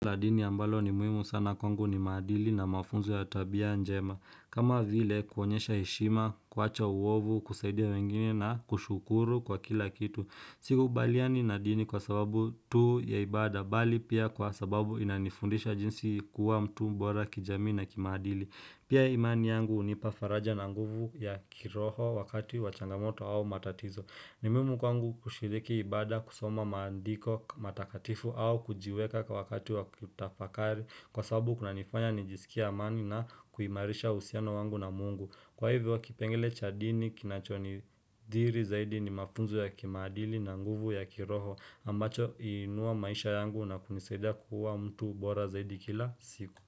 Na dini ambalo ni muimu sana kwa ngu ni madili na mafunzo ya tabia njema. Kama vile kuonyesha heshima, kuwacha uovu, kusaidia wengine na kushukuru kwa kila kitu. Sikubaliani na dini kwa sababu tu ya ibada, bali pia kwa sababu inanifundisha jinsi kuwa mtu mbora kijamii na kimaadili. Pia imani yangu hunipa faraja na nguvu ya kiroho wakati wa changamoto au matatizo. Ni muhimu mkwangu kushiriki ibada kusoma maandiko matakatifu au kujiweka kwa wakati wa kutafakari kwa sababu kuna nifanya nijisikie amani na kuimarisha ahusiano wangu na mungu. Kwa hivyo kipengele cha dini kinachonidhiri zaidi ni mafunzo ya kimaadili na nguvu ya kiroho ambacho huinua maisha yangu na kunisaidia kuwa mtu bora zaidi kila siku.